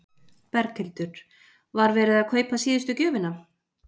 Berghildur: Var verið að kaupa síðustu gjöfina?